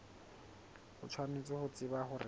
o tshwanetse ho tseba hore